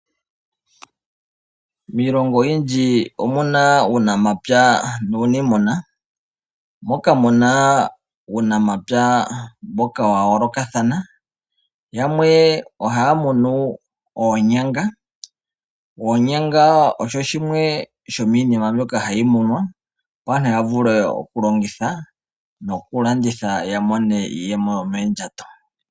Miilongo oyindji omuna uunamapya nuuniimuna, moka muna uunamapya wa yoolokathana, yamwe ohaya munu oonyanga. Oonyanga osho shimwe sho miinima mbyoka hayi munwa, opo aantu ya vule oku longitha noku landitha ya mone iiyemo yomoondjato.